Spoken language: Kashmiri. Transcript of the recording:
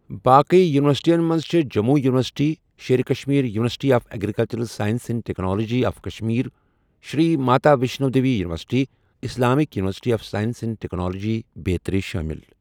باقٕے یوٗنورسِٹیَن منٛز چھےٚ Jammu university, Sher Kashmir university of agricultural sciences and technology of Kashmir, Shri Mata Vaishno Devi university, Islamic university of science and technology بیترِ شٲمِل۔